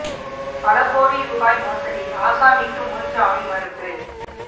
பல கோடி ரூபாய் மோசடி ஆசாமிக்கு முன் ஜாமின் மறுப்பு